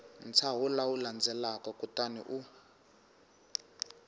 ntshaho lowu landzelaka kutani u